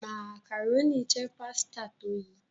macaroni jé pàsìta tó yí.